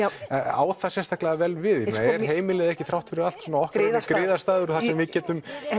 á það sérstaklega vel við er heimilið ekki þrátt fyrir allt okkar griðastaður þar sem við getum